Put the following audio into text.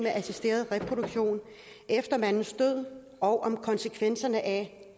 assisteret reproduktion efter mandens død og om konsekvenserne af